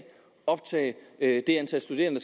optage det antal studerende